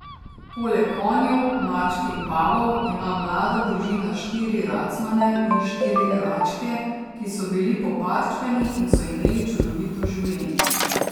Poleg konjev, mačk in pavov ima mlada družina štiri racmane in štiri račke, ki so bili poparčkani in so imeli čudovito življenje.